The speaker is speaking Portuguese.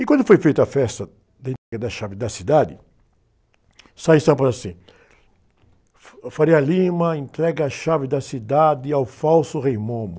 E quando foi feita a festa da entrega da chave da cidade, sai em São Paulo assim, entrega a chave da cidade ao falso Rei Momo.